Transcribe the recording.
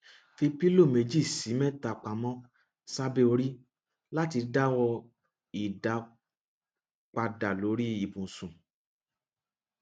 fi pillow meji si meta pamo sabe ori lati dawo idapada lori ibusun